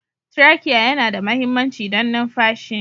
Traciye yana da mahimmanci don numfashi.